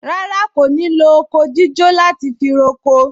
Rárá, kò ní lo oko jíjó láti fi roko